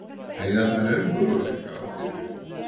Eiga þær enn möguleika á titlinum?